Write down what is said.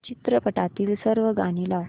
चित्रपटातील सर्व गाणी लाव